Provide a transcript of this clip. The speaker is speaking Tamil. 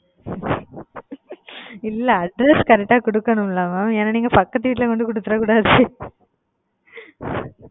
இல்ல address correct குடுக்கனும்ல mam ஏன்னா நீங்க பக்கத்து வீட்டுல கொண்டுபோய் குடுத்துரக்கூடாது.